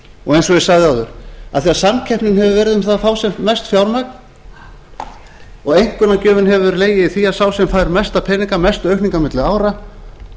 og eins og ég sagði áður af því samkeppni hefur verið um það að fá sem mest fjármagn og einkunnagjöfin hefur legið í því að sá sem fær mesta peninga mestu aukningu á milli ára